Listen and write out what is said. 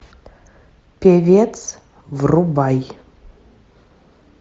певец врубай